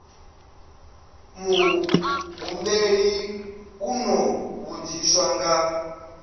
muhumbeli u ḓo vhudziswa nga